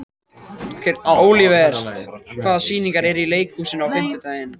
Olivert, hvaða sýningar eru í leikhúsinu á fimmtudaginn?